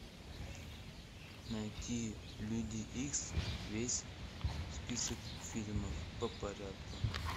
найти люди икс весь список фильмов по порядку